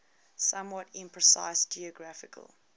somewhat imprecise geographical